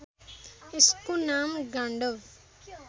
यसको नाम गाण्डब